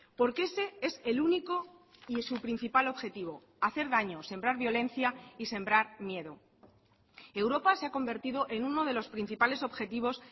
porque ese es el único y su principal objetivo hacer daño sembrar violencia y sembrar miedo europa se ha convertido en uno de los principales objetivos